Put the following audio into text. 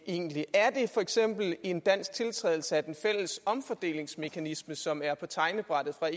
egentlig er det for eksempel en dansk tiltrædelse af den fælles omfordelingsmekanisme som er på tegnebrættet fra